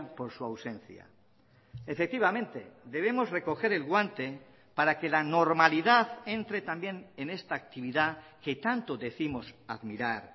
por su ausencia efectivamente debemos recoger el guante para que la normalidad entre también en esta actividad que tanto décimos admirar